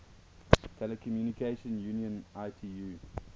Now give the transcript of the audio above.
telecommunication union itu